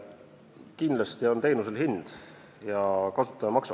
Kindlasti on teenusel hind ja kasutaja maksab.